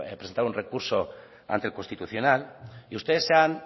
presentaron el recurso ante el constitucional y ustedes se han